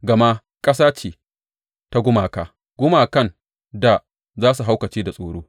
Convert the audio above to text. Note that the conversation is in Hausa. Gama ƙasa ce ta gumaka, gumakan da za su haukace da tsoro.